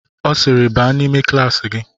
Ọ sịịrị baa n'ime klaasị gị!